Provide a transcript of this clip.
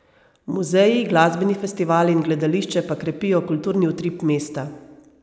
Muzeji, glasbeni festivali in gledališče pa krepijo kulturni utrip mesta.